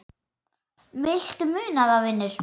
Viltu muna það, vinur?